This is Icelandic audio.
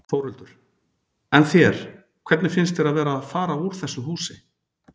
Þórhildur: En þér, hvernig finnst þér að vera að fara úr þessu húsi?